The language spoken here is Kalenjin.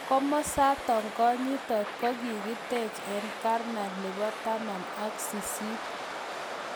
Komasatok konyitoot kokiteeche eng karne nepo taman ak sisit.